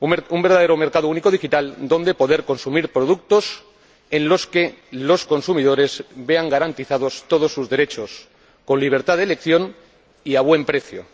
Un verdadero mercado único digital donde poder consumir productos para los que los consumidores vean garantizados todos sus derechos, con libertad de elección y a buen precio.